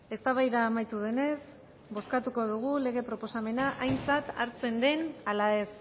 eztabaida amaitu denez bozkatuko dugu lege proposamena aintzat hartzen ala ez